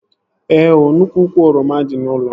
Ee ooo, nnukwu úkwù oroma dị n'ụlọ m